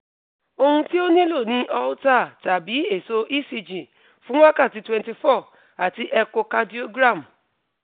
ohun ti o nilo ni holter tabi eso ecg fun wakati twenty four ati echo cardiogram